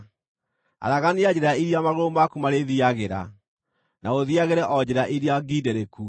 Aragania njĩra iria magũrũ maku marĩthiiagĩra, na ũthiiagĩre o njĩra iria ngiindĩrĩku.